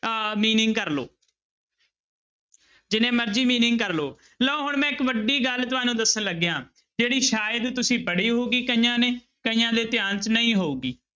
ਅਹ meaning ਕਰ ਲਓ ਜਿੰਨੇ ਮਰਜ਼ੀ meaning ਕਰ ਲਓ, ਲਓ ਹੁਣ ਮੈਂ ਇੱਕ ਵੱਡੀ ਗੱਲ ਤੁਹਾਨੂੰ ਦੱਸਣ ਲੱਗਿਆਂ, ਜਿਹੜੀ ਸ਼ਾਇਦ ਤੁਸੀਂ ਪੜ੍ਹੀ ਹੋਊਗੀ ਕਈਆਂ ਨੇ ਕਈਆਂ ਦੇ ਧਿਆਨ 'ਚ ਨਹੀਂ ਹੋਊਗੀ।